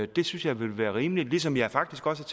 det synes jeg vil være rimeligt ligesom jeg faktisk også